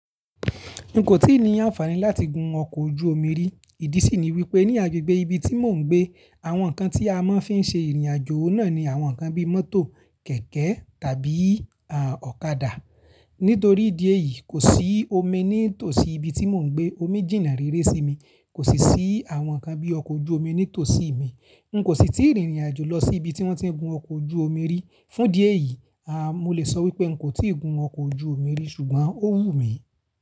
N kò tíì ní àǹfààní láti gun ọkọ̀ ojú omi rí. Ìdí sì ni wípé ní agbègbè ibi tí mò ń gbé, àwọn ǹkan tí a máa ń fi ń ṣe ìrìnàjò náà ni àwọn ǹkan bí mọ́tò, kẹ̀kẹ́ tàbí, à, ọ̀kadà. Nítorí ìdi e yìí kò sí omi ní tòsí ibi tí mò ń gbé. Omi jìnnà rere sí mi. Kò sì sí àwọn ǹkan bí ọkọ̀ ojú omi ní tòsí mi. N kò sì tíì rìnrìnàjò lọ sí ibi tí wọ́n ti ń gun ọkọ̀ ojú omi rí. Fún ìdi e yìí, à, mo lè sọ wípé n kò tíì gun ọkọ̀ ojú omi rí ṣùgbọ́n ó wù mí.